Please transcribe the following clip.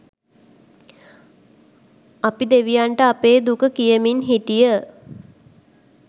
අපි දෙවියන්ට අපේ දුක කියමින් හිටිය.